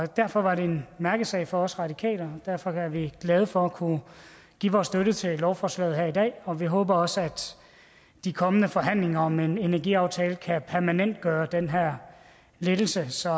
derfor var det en mærkesag for os radikale og derfor er vi glade for at kunne give vores støtte til lovforslaget her i dag og vi håber også at de kommende forhandlinger om en energiaftale kan permanentgøre den her lettelse så